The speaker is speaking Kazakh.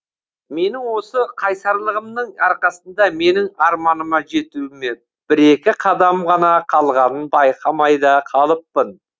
менің осы қайсарлығымның арқасында менің арманыма жетуіме бір екі қадам ғана қалғанын байқамай да қалыппын